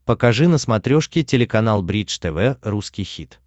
покажи на смотрешке телеканал бридж тв русский хит